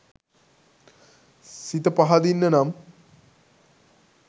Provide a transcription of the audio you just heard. සිත පහදින්න නම්